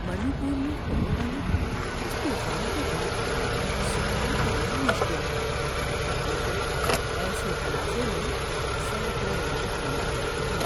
منی پور میں ہونے والے اس طوفان کے بیچ سکون پانا مشکل ہے، کیونکہ ایسے تنازعے میں سینکڑوں لوگ مر جاتے ہیں۔